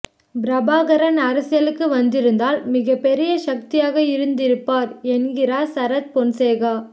பிரபாகரன் அரசியலுக்கு வந்திருந்தால் மிகப்பெரிய சக்தியாக இருந்திருப்பார் என்கிறார் சரத் பொன்சேகா